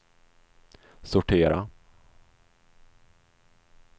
sortera